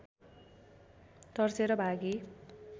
तर्सेर भागी